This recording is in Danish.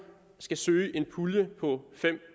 skal søge en pulje på fem